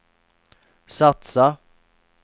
satsa